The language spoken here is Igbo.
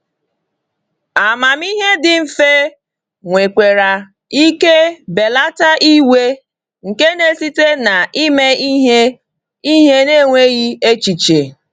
Amamihe dị mfe nwekwara ike belata iwe nke na-esite na ime ihe ihe n’enweghị echiche.